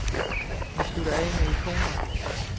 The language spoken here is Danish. Vi slutter af med ikoner.